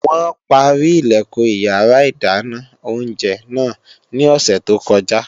Wọn páárì Ilẹ̀kùn iyàrá ìdáná oúnjẹ náà ní òsè tó kọjá